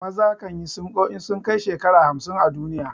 Maza kan yi sinƙo in sun kai shekara hamsin a duniya.